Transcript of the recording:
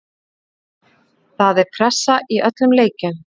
Það er pressa í öllum leikjum.